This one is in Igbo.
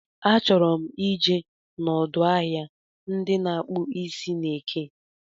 Achọrọ m ije n'ọdụ ahịa ndị na-akpụ isi n'eke